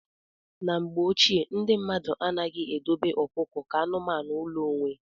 Na mgbe ochie, ndị mmadụ anaghị edobe ọkụkọ ka anụmanụ ụlọ onwe.